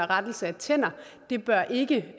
rettelse af tænder det bør ikke